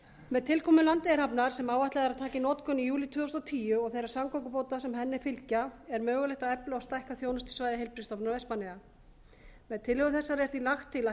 með tilkomu landeyjahafnar sem áætlað er að taka í notkun í júlí tvö þúsund og tíu og þeirra samgöngubóta sem henni fylgja er mögulegt að efla og stækka þjónustusvæði heilbrigðisstofnunar vestmannaeyja með tillögu þessari er því lagt til að